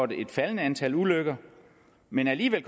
et faldende antal ulykker men alligevel